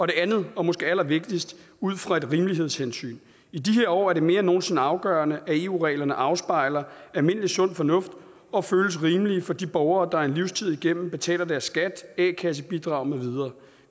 det andet og måske allervigtigst ud fra et rimelighedshensyn i de her år er det mere end nogen sinde afgørende at eu reglerne afspejler almindelig sund fornuft og føles rimelige for de borgere der en livstid igennem betaler deres skat a kassebidrag med videre